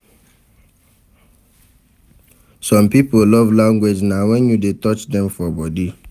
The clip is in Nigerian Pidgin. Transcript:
Some pipo love language na when you de touch dem for body